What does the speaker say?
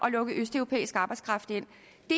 at lukke østeuropæisk arbejdskraft ind